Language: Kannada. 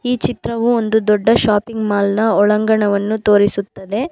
ಈ ಚಿತ್ರವು ಒಂದು ದೊಡ್ಡ ಶಾಪಿಂಗ್ ಮಾಲ್ನ ಒಳಾಂಗಣವನ್ನು ತೋರಿಸುತ್ತದೆ.